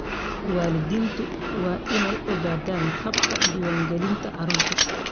Waalidiintu waa inay ogaadaan habka diiwaangelinta carruurta.